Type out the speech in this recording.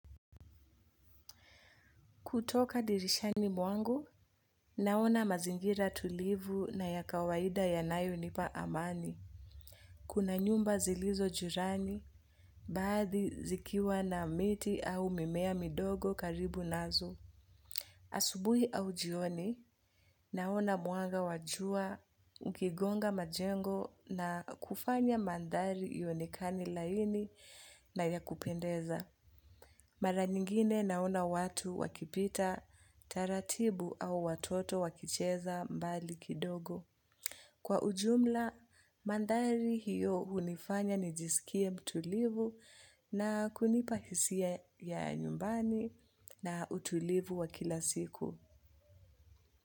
Kutoka dirishani mwangu, naona mazingira tulivu na ya kawaida yanayonipa amani. Kuna nyumba zilizo jirani, baadhi zikiwa na miti au mimea midogo karibu nazo. Asubuhi au jioni, naona mwanga wa jua ukigonga majengo na kufanya mandhari ionekane laini na ya kupendeza. Mara nyingine naona watu wakipita taratibu au watoto wakicheza mbali kidogo. Kwa ujumla, mandhari hiyo hunifanya nijisikie mtulivu na kunipa hisia ya nyumbani na utulivu wa kila siku.